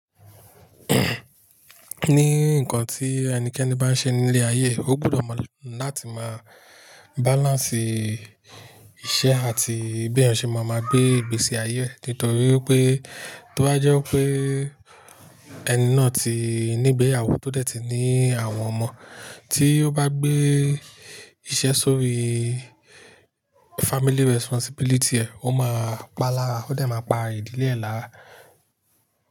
Ni nǹkan tí ẹnikẹ́ni bá ń ṣe nílé ayé, ó gbúdọ̀ mọ láti máa balance iṣẹ́ àti bí òun ṣe máa ma gbé ìgbésí ayé ẹ́. Nítorí pé, tó bá jẹ́ pé ẹni náà ti nígbẹ̀yàwó tó dẹ̀ ti ní àwọn ọmọ, tí ó bá gbé iṣẹ́ sórí family responsibility ẹ̀, ó máa pa lára. Ó dẹ̀ má pa ìdílé ẹ̀ lára.